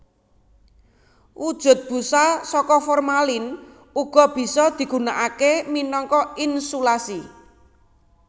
Wujud busa saka formalin uga bisa digunakaké minangka insulasi